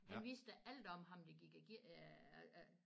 Han vidste alt om ham der gik og